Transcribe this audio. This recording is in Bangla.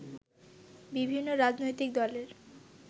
বিভিন্ন রাজনৈতিক দলের